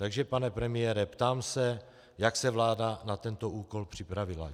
Takže pane premiére, ptám se, jak se vláda na tento úkol připravila.